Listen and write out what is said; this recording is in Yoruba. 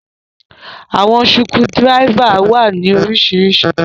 Àwọn sukudiráifa wa ni orísiríṣí.